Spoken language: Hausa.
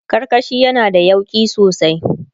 karkashi yana da yauƙi sosai